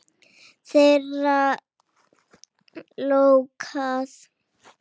Þeirra lokað.